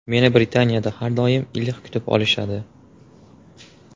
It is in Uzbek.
Meni Britaniyada har doim iliq kutib olishadi.